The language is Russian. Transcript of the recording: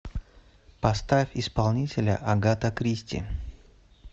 поставь исполнителя агата кристи